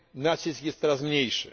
nacisk jest teraz mniejszy.